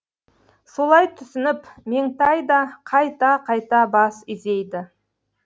солай түсініп меңтай да қайта қайта бас изейді